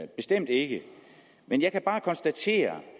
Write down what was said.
bestemt ikke men jeg kan bare konstatere